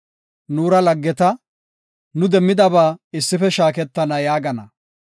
Nuura laggeta; nu demmidaba issife shaaketana” yaagana.